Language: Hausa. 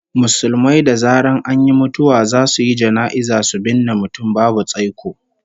Musulmai da zaran an yi mutuwa zasu yi jana'iza su binne mutum babu tsaiko